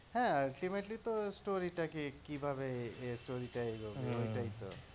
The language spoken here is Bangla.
হ্যাঁ ultimately তো story টাকে কিভাবে এই story টা এগোবে ওইটাই তো